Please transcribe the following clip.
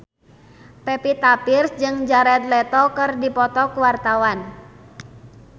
Pevita Pearce jeung Jared Leto keur dipoto ku wartawan